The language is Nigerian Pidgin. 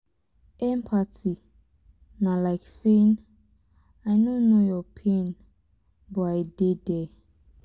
empathy na like saying " i no know your pain but i dey there".